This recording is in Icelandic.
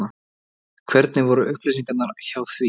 Hvernig voru upplýsingarnar hjá því?